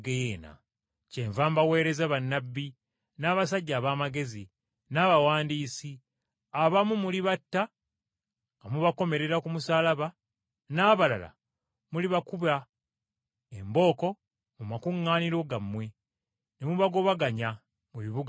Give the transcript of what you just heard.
Kyenva mbaweereza bannabbi, n’abasajja ab’amagezi, n’abawandiisi, abamu mulibatta nga mubakomerera ku musaalaba, n’abalala mulibakuba embooko mu makuŋŋaaniro gammwe, ne mubagobaganya mu bibuga byammwe.